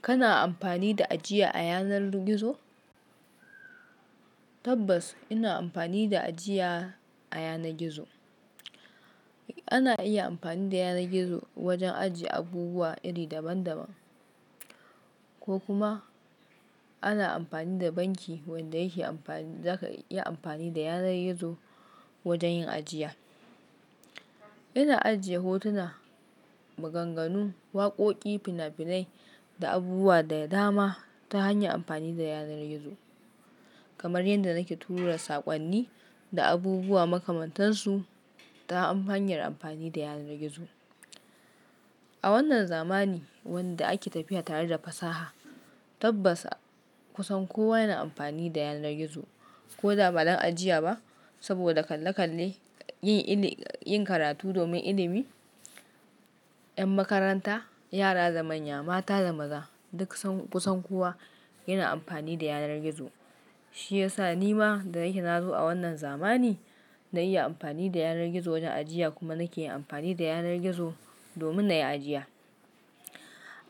Kana amfani da ajiya a yanar gizo? Tabbas ina amfani da ajiya a yanar gizo. Ana iya amfani da yanar gizo wajen ajiye abubuwa iri daban daban, ko kuma ana amfani da banki wanda yake amfani. Zaka iya amfani da yanar gizo wajen yin ajiya. Ina ajiye hotuna, maganganu, waƙoƙi, fina-finai da abubuwa da dama ta hanyar amfani da yanar gizo, kamar yadda nake turawa saƙonni da abubuwa makamantar su ta hanyar amfani da yanar gizo. A wannan zamani wanda ake tafiya tare da fasaha, tabbas kusan kowa yana amfani da yanar gizo, ko da ba don ajiya ba. Saboda kalle kalle yin karatu domin ilimi, 'yan makaranta, yara da manya, mata da maza duk kusan kowa yana amfani da yanar gizo. Shi ya sa ni ma da nake nazo a wannan zamani na iya amfani da yanar gizo don ajiya kuma nake amfani da yanar gizo domin na yi ajiya.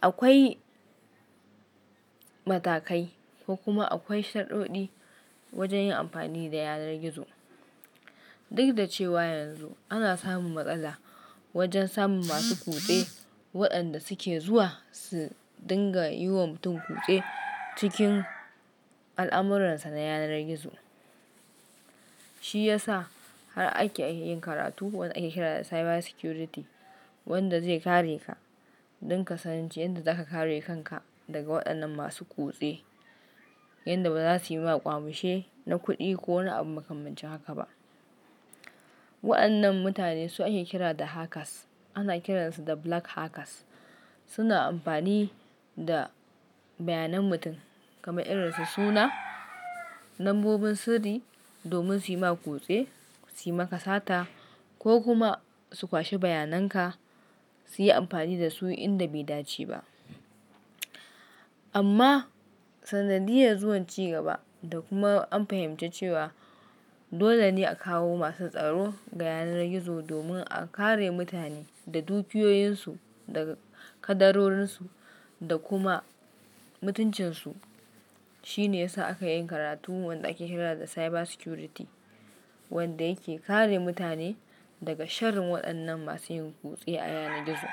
Akwai matakai ko kuma akwai shaɗuɗɗi wajen yin amfani da yanar gizo. Duk da cewa yanzu ana samun matsala wajen samun masu kutse waɗanda suke zuwa su dinga yiwa mutum kutse cikin al'amuransa na yanar gizo. Shi ya sa har ake yin karatu wanda ake kira da cyber security, wanda zai kareka don kasanin ce yadda zaka kare kanka daga waɗannan masu kutse yadda ba za su yi maka ƙyamushe na kuɗi ko na abin makamancin haka ba. Waɗannan mutane su ake kira da hackers. Ana kiransu da black hackers. Suna amfani da bayanan mutum kamar irin su suna, lambobin sirri domin su yi maka kutse, su yi maka sata ko kuma su kwashe bayanan ka su yi amfani da su inda bai dace ba. Amma sanadiyar zuwan ci gaba da kuma an fahimci cewa dole ne a kawo masu tsaro ga yanar gizo domin a kare mutane da dukiyoyinsu da kadarorinsu da kuma mutuncinsu. Shi ne ya sa aka yi karatu wanda ake kira da cyber security, wanda yake kare mutane daga sharrin waɗannan masu yin kutse a yanar gizo.